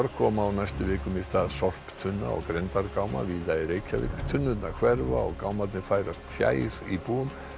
koma á næstu vikum í stað sorptunna og grenndargáma víða í Reykjavík tunnurnar hverfa og gámarnir færast fjær íbúum